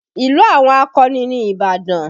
Ìlú àwọn akọni ni Ìbàdàn